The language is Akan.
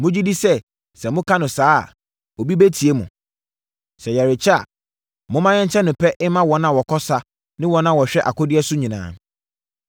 Mogye di sɛ sɛ moka no saa a, obi bɛtie mo? Sɛ yɛrekyɛ a, momma yɛnkyɛ no pɛ mma wɔn a wɔkɔ sa ne wɔn a wɔhwɛ akodeɛ so nyinaa.”